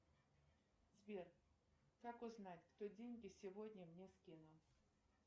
сбер как узнать кто деньги сегодня мне скинул